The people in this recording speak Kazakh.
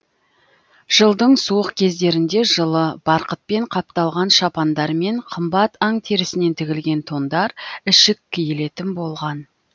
жылдың суық кездерінде жылы барқытпен қапталған шапандар мен қымбат аң терісінен тігілген тондар ішік киілетін болған